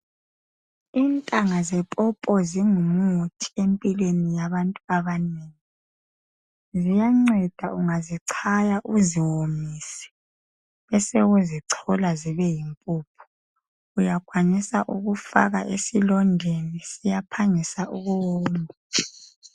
Intanga zepopo zingimuthi empilweni yabantu abanengi. Ziyanceda ungazichaya, uziwomise bese uzichola zibeyimphuphu. Uyakwanisa ukufaka esilondeni, siyaphangisa ukuwoma.